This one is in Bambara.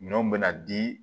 Minɛnw bɛ na di